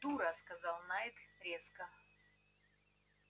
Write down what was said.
дура сказал найд резко